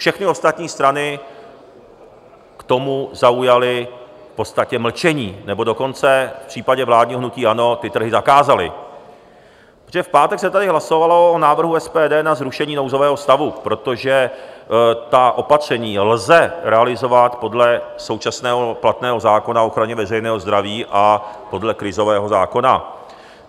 Všechny ostatní strany k tomu zaujaly v podstatě mlčení, nebo dokonce v případě vládního hnutí ANO ty trhy zakázaly, protože v pátek se tady hlasovalo o návrhu SPD na zrušení nouzového stavu, protože ta opatření lze realizovat podle současného platného zákona o ochraně veřejného zdraví a podle krizového zákona.